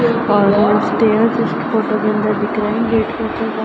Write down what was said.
और इस फोटो के अंदर दिख रहे हेंगे --